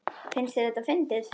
Finnst þér þetta fyndið?